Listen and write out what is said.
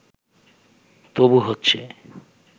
তবু হচ্ছে